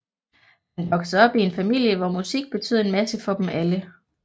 Han voksede op i en familie hvor musik betød en masse for dem alle